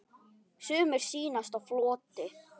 Sumir sýnast á floti.